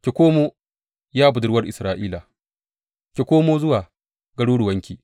Ki komo, ya Budurwar Isra’ila, ki komo zuwa garuruwanki.